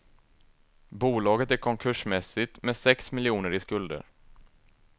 Bolaget är konkursmässigt med sex miljoner i skulder.